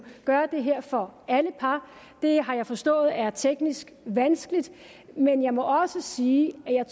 gøre det her for alle par det har jeg forstået er teknisk vanskeligt men jeg må også sige at jeg